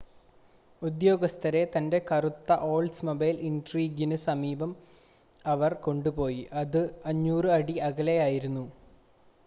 ഉദ്യോഗസ്ഥരെ തൻ്റെ കറുത്ത ഓൾഡ്സ്മൊബൈൽ ഇൻട്രീഗിന് സമീപത്തേക്ക് അവർ കൊണ്ടുപോയി അത് 500 അടി അകലെ ആയിരുന്നു